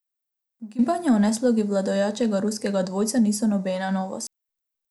Ugibanja o neslogi vladajočega ruskega dvojca niso nobena novost.